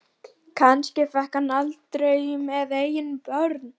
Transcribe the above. Kannski fékk hann það aldrei með eigin börn.